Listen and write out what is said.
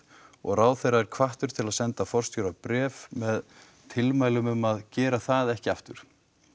og ráðherra er hvattur til þess að senda forstjóra bréf með tilmælum um að gera það ekki aftur